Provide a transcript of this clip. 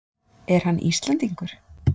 Er hann Íslendingur?